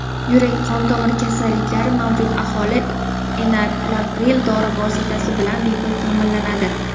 Yurak-qon tomir kasalliklari mavjud aholi enalapril dori vositasi bilan bepul taʼminlanadi.